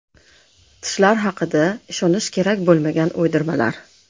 Tishlar haqida ishonish kerak bo‘lmagan uydirmalar.